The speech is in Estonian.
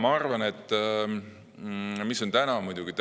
Ma arvan, et täna on avaldust